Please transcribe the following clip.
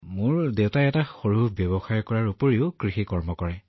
হয় মোৰ দেউতাই এটা সৰু ব্যৱসায় চলায় আৰু বাকী সকলোৱে কিছু খেতিবাতিৰ কাম কৰে